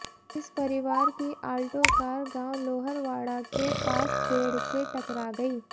इस परिवार की आल्टो कार गांव लोहरवाड़ा के पास पेड़ से टकरा गयी